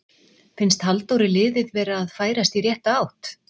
Finnst Halldóri liðið vera að færast í rétta átt?